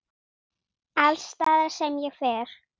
Alls staðar sem ég fer.